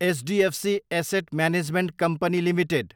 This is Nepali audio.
HDFC asset management company Ltd